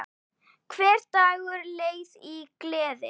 Hver dagur leið í gleði.